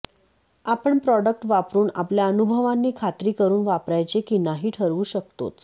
आपण प्रॉडक्ट वापरुन आपल्या अनुभवांनी खात्री करुन वापरायचे की नाही ठरवू शकतोच